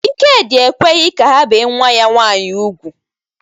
Ịkedi ekweghi ka ha be nwa ya nwaanyi ùgwú.